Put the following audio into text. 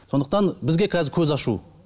сондықтан бізге қазір көз ашу